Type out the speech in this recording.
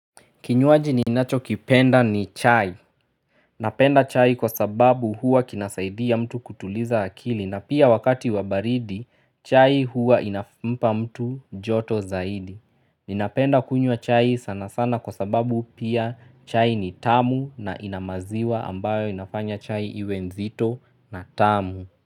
Kinywaji ninacho kipenda ni chai. Napenda chai kwa sababu huwa kinasaidia mtu kutuliza akili na pia wakati wa baridi chai huwa inampa mtu joto zaidi. Ninapenda kunywa chai sana sana kwa sababu pia chai ni tamu na inamaziwa ambayo inafanya chai iwe nzito na tamu.